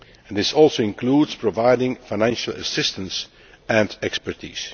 This also includes providing financial assistance and expertise.